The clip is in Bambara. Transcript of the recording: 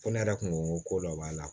Ko ne yɛrɛ kun ko ko dɔ b'a la